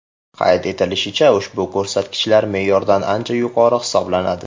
Qayd etilishicha, ushbu ko‘rsatkichlar me’yordan ancha yuqori hisoblanadi.